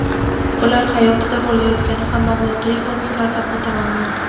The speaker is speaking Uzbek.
ular hayotida bo‘layotgan hamma voqea-hodisalardan o‘ta mamnun.